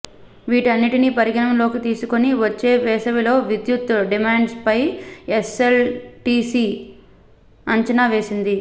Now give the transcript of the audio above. వీటన్నిటినీ పరిగణలోనికి తీసుకుని వచ్చే వేసవిలో విద్యుత్ డిమాండ్పై ఎస్ఎల్డీసీ అంచనా వేసింది